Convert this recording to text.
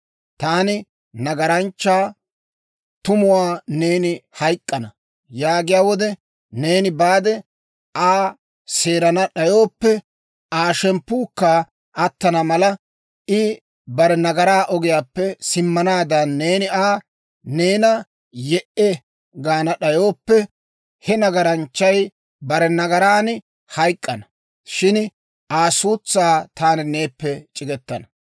Taani nagaranchchaa, ‹Tumuwaa neeni hayk'k'ana› yaagiyaa wode, neeni baade Aa seerana d'ayooppe, Aa shemppuukka attana mala, I bare nagaraa ogiyaappe simmanaadan neeni Aa, ‹Neena ye"e!› gaana d'ayooppe, he nagaranchchay bare nagaran hayk'k'ana; shin Aa suutsaa taani neeppe c'igetana.